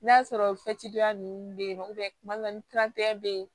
N'a sɔrɔ ninnu bɛ yen nɔ tuma dɔ la ni bɛ yen